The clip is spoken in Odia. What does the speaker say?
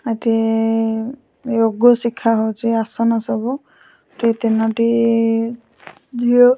ଏଠି ୟୋଗ ଶିଖା ହଉଚି ଆସନ ସବୁ। ଏଠି ତିନୋଟି ଝିଅ --